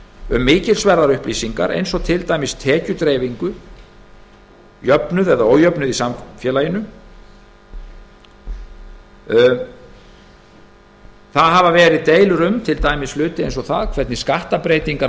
um mikilsverðar upplýsingar eins og til dæmis tekjudreifingu jöfnuð eða ójöfnuð í samfélaginu til dæmis hafa verið deilur um hluti eins og það hvernig skattbreytingar á